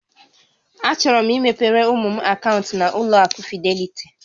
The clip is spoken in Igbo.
Achọrọ m imepere ụmụ m akaụntụ na-ụlọ akụ Fidelity